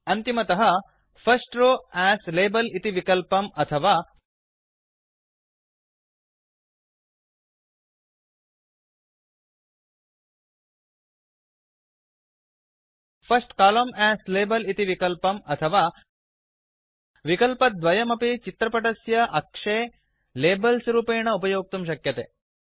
अन्तिमतः first row as label इति विकल्पं अथवा फर्स्ट कोलम्न अस् लाबेल इति विकल्पं अथवा विकल्पद्वयमपि चित्रपटस्य अक्षे लेबल्स् रूपेण उपयोक्तुं शक्यते